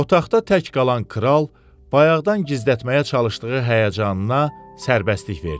Otaqda tək qalan kral bayaqdan gizlətməyə çalışdığı həyəcanına sərbəstlik verdi.